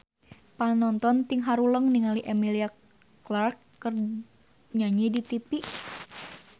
Panonton ting haruleng ningali Emilia Clarke keur nyanyi di tipi